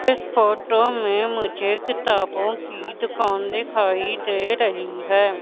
इस फोटो में मुझे किताबों की दुकान दिखाई दे रही है।